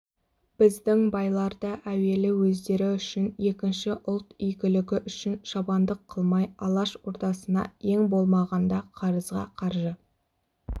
біздің байлар да әуелі өздері үшін екінші ұлт игілігі үшін шабандық қылмай алаш ордасына ең болмағанда қарызға қаржы